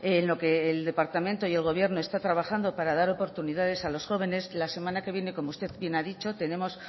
en lo que el departamento y el gobierno está trabajando para dar oportunidades a los jóvenes la semana que viene como usted bien ha dicho tenemos